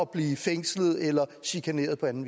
blive fængslet eller chikaneret på anden